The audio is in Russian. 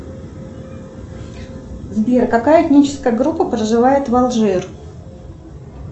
сбер какая этническая группа проживает в алжир